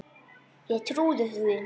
Ég trúði því.